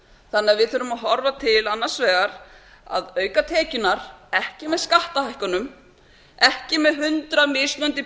að við þurfum að horfa til annars vegar að auka tekjurnar ekki með skattahækkunum ekki með hundrað mismunandi